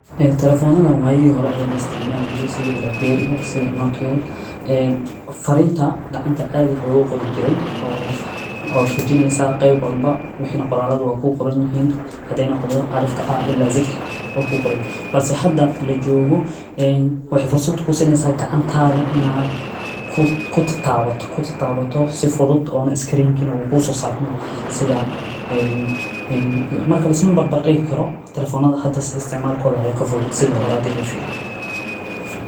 Telefoonada wayi a hore laisticmaalo jiray sidii blackberry sida Nokia. ee Fariinta gacanta caadi loogu qor jirey oo tuujinaysaa qeyb walba wixi qoraadooda waa kuu qoran yihiin. Hadeena qodobto alifka A ilaa Z waa kuu qornay, balse hadda la joogo in wax farsood ku sinnaysa gacantaada inaad ku ku taabato ku taabato si fudud on screen kina wuu kuugu sasaar mo sida. Markale sibi bar bar dhigi karo telefoonada hadda istimaaal kooda ayaa ka fudud sida horaadiil u fiiri.